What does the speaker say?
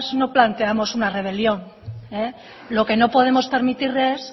no planteamos una rebelión lo que no podemos permitirle es